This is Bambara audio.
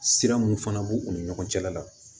Sira mun fana b'u ni ɲɔgɔn cɛla la